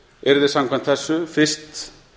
yrði samkvæmt þessu fyrst